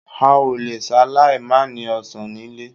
A ò le ṣaláì mànìí ọ̀sán nílé